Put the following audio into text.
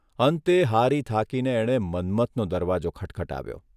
અંતે હારી થાકીને એણે મન્મથનો દરવાજો ખટખટાવ્યો.